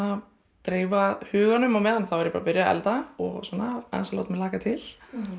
dreifa huganum á meðan þá er ég byrjuð að elda og svona aðeins að láta mig hlakka til